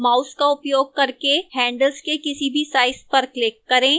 mouse का उपयोग करके handles के किसी भी side पर click करें